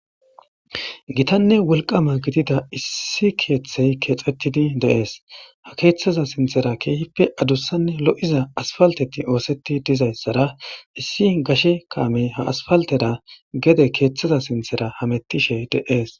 Githanne wolqqama gidida issi keeththey keexethhidi de7ees; ha keeththeza sinththera keehippe adussanne lo7iza aspalththethi ooseththi dizayssara issi gashe kaamee ha aspalththera gede keeththaza sinththera hameththishe de7ees.